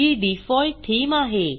ही default theme आहे